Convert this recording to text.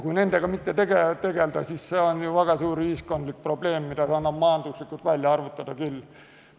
Kui sellega mitte tegelda, siis see on väga suur ühiskondlik probleem, mida annab majanduslikult välja arvutada küll.